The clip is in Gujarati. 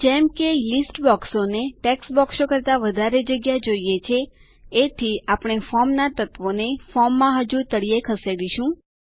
જ્યારે કે યાદીઓના બોક્સોને ટેક્સ્ટ બોક્સો કરતા વધારે જગ્યા જોઈએ છે એથી આપણે ફોર્મના તત્વોને ફોર્મમાં હજુ તળીયે ખસેડીશું